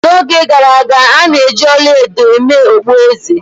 N'oge gara aga, a na-eji ọla edo mee okpueze.